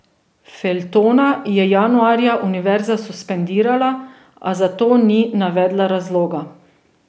Feltona je januarja univerza suspendirala, a za to ni navedla razloga.